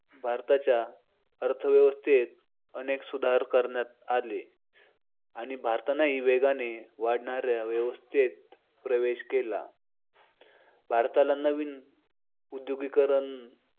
भारताच्या अर्थव्यवस्थेत अनेक सुधारणा करण्यात आले आणि भारतानेही वेगाने वाढणाऱ्या वेव्स्थित प्रवेश केला भारताला नवीन औद्योगिकीकरणं